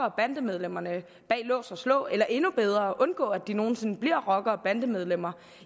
og bandemedlemmerne bag lås og slå eller endnu bedre at undgå at de nogen sinde bliver rocker og bandemedlemmer